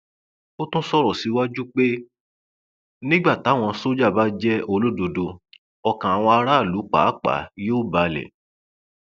ó tún sọrọ síwájú sí i pé nígbà táwọn sójà bá jẹ olódodo ọkàn àwọn aráàlú pàápàá yóò balẹ